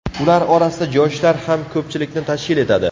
Ular orasida yoshlar ham ko‘pchilikni tashkil etadi.